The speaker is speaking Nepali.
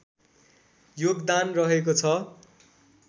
योगदान रहेको छ